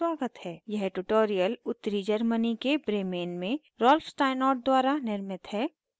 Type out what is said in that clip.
यह ट्यूटोरियल उत्तरी germany के bremen में rolf steinort द्वारा निर्मित है